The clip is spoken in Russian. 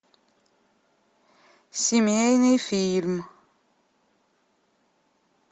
семейный фильм